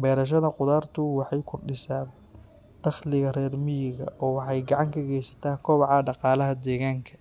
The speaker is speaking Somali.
Beerashada qudartu waxay kordhisaa dakhliga reer miyiga oo waxay gacan ka geysataa kobaca dhaqaalaha deegaanka.